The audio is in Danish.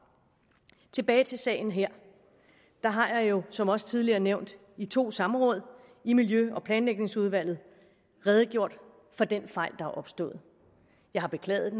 tilbage til sagen her jeg har jo som også tidligere nævnt i to samråd i miljø og planlægningsudvalget redegjort for den fejl er opstået jeg har beklaget